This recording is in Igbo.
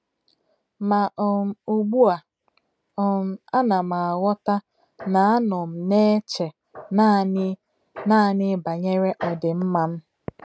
Mà um ùgbú à, um ànà m àghọ̀tà nà à nọ̀ m nà-èchè nánị̀ nánị̀ bànyèrè òdìm̀má m.